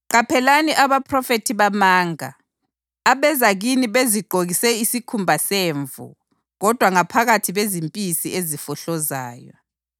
“Qaphelani abaphrofethi bamanga abeza kini bezigqokise isikhumba semvu kodwa ngaphakathi bezimpisi ezifohlozayo.